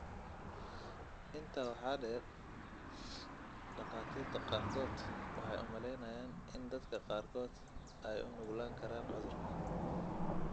Intaa waxaa dheer, dhakhaatiirta qaarkood waxay u maleynayaan in dadka qaarkood ay u nuglaan karaan cudurka.